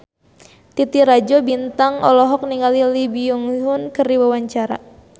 Titi Rajo Bintang olohok ningali Lee Byung Hun keur diwawancara